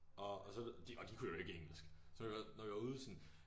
Og og så og de kunne jo ikke engelsk så når vi var når vi var ude sådan